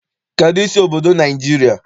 Kedụ isi obodo Naịjirịa?